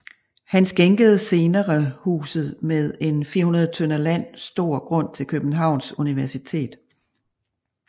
Han skænkede senere huset med en 400 tdr land stor grund till Københavns Universitet